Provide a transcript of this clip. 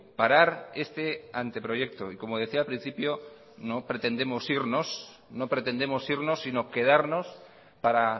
parar este anteproyecto y como decía al principio no pretendemos irnos sino quedarnos para